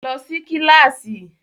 Lọ sí kíláàsì!